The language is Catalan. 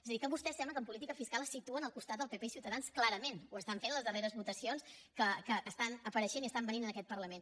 és a dir que vostès sembla que en política fiscal es situen al costat del pp i ciutadans clarament ho estan fent a les darreres votacions que apareixen i vénen en aquest parlament